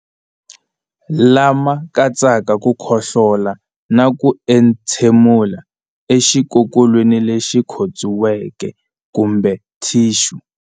Lama katsaka ku khohlola na ku entshemulela exikokolweni lexi khotsiweke kumbe thixu.